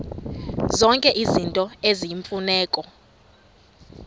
zonke izinto eziyimfuneko